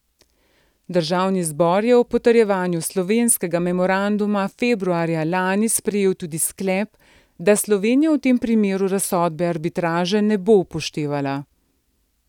Državni zbor je ob potrjevanju slovenskega memoranduma februarja lani sprejel tudi sklep, da Slovenija v tem primeru razsodbe arbitraže ne bo upoštevala.